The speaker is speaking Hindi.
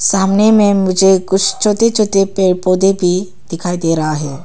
सामने में मुझे कुछ छोटे छोटे पेड़ पौधे भी दिखाई दे रहा है।